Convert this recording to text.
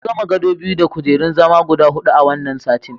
Mun gama gado biyu da kujerun zama guda huɗu wannan satin.